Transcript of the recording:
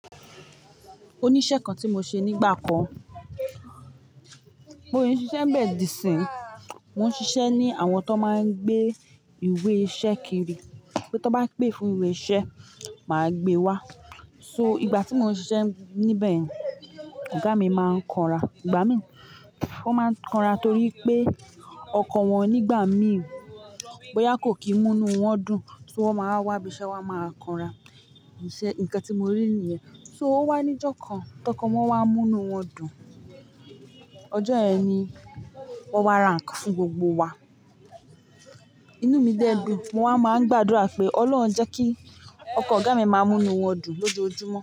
Ó ni iṣẹ kan ti mo ṣe nígbà kan. Mò ń ṣiṣẹ́ bẹ́ẹ̀ dí sín. Mò ń ṣiṣẹ́ ní àwọn tó máa ń gbé ìwé iṣẹ kiri, pé tan bá gbé fún ìwé iṣẹ, mà á gbe wá. So ìgbà tí mo ń ṣiṣẹ́ níbẹ̀yen, ọ̀gá mi máa ń kanra. Ìgbà mìí, ó máa ń kanra torí pé ọkọ̀ wọn nígbà mìí, bóyá kò kìí múni wọ́n dùn, so wọ́n máa wá ibiṣẹ́, wọ́n á máa kanra. Isé ǹnkan tí mo rí nìyẹn. Só ó wá níjọ́ kan, tọkọ wọ́n wá múnu wọ́n dùn. Ọjọ́ yẹn ni wọ́n wá rà nnkan fún gbogbo wa. Inú mi dẹ́ dun. Mo wa máa ń gbàdúrà pé "Ọlọ́run jẹ́ kí ọkọ̀ ọ̀gá mi máa múni wọ́n dùn lójoojúmọ́."